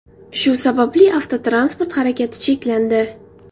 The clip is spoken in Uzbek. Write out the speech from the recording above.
Shu sababli avtotransport harakati cheklandi .